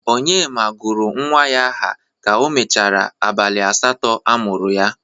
Onyema gụrụ nwa ya aha ka o merechara abalị asatọ a mụrụ ya.